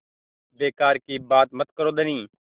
बेकार की बात मत करो धनी